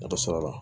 Dɔ sara la